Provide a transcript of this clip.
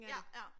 Ja ja